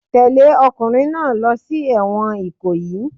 Tẹ̀lẹ́ ọkùnrin náà lọ sí ẹ̀wọ̀n Ikoyi.